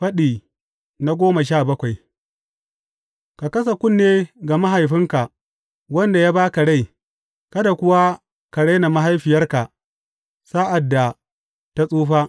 Faɗi goma sha bakwai Ka kasa kunne ga mahaifinka, wanda ya ba ka rai, kada kuwa ka rena mahaifiyarka sa’ad da ta tsufa.